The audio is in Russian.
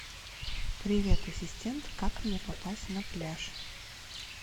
привет ассистент как мне попасть на пляж